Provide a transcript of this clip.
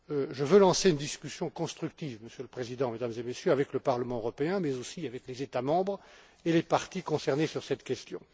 Je veux lancer une discussion constructive, Monsieur le Président, Mesdames et Messieurs, avec le Parlement européen, mais aussi avec les États membres et les parties concernées sur cette question.